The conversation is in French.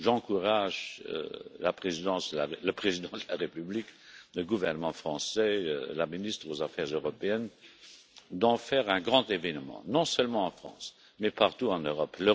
J'encourage le Président de la République, le gouvernement français et la ministre des affaires européennes à en faire un grand événement, non seulement en France mais partout en Europe.